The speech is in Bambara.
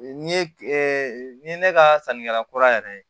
Nin ye ni ye ne ka sannikɛla kura yɛrɛ ye